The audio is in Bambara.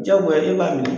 Diyagoya ne b'a minɛ